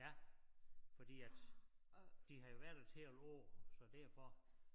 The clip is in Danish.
Ja fordi at de har jo været der et helt år så derfor